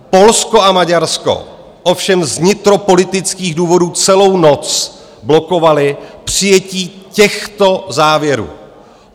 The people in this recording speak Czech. Polsko a Maďarsko ovšem z vnitropolitických důvodů celou noc blokovaly přijetí těchto závěrů.